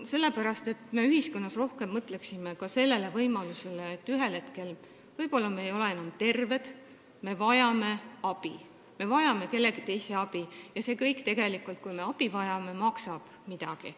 Sellepärast, et me peame ühiskonnas rohkem mõtlema ka sellele, et ühel hetkel me võib-olla ei ole enam terved, me vajame kellegi teise abi ja tegelikult see kõik, kui me abi vajame, maksab midagi.